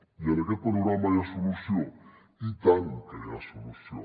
i en aquest panorama hi ha solució i tant que hi ha solució